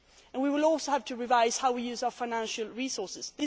challenges. We will also have to revise how we use our financial